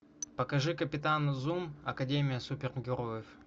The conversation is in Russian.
покажи капитан зум академия супергероев